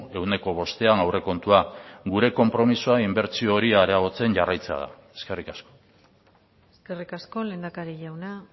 ehuneko bostean aurrekontua gure konpromisoa inbertsio hori areagotzen jarraitzea da eskerrik asko eskerrik asko lehendakari jauna